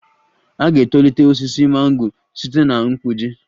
A ga-etolite osisi mango site na mgbuji